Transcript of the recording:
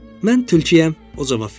Mən tülküəm, o cavab verdi.